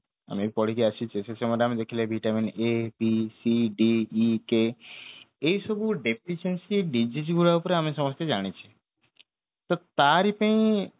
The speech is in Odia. ଆମେ ବି ପଢିକି ଆସିଛେ ସେ ସମୟରେ ଆମେ ଦେଖିଲେ ଦିଟା ମାନେ a b c d e k ଏଇ ସବୁ deficiency disease ଗୁରାକରୁ ଆମେ ସମସ୍ତେ ଜାଣିଛେ ତ ତାରି ପାଇଁ